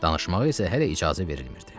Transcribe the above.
Danışmağa isə hələ icazə verilmirdi.